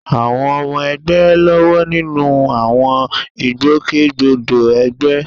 Àwọn ọmọ ẹgbẹ́ ń lọ́wọ́ nínú àwọn ìgbòkègbodò ẹgbẹ́.